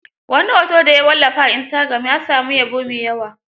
Wani hoto da ya wallafa a istagiram, ya samu yabo mai yawa.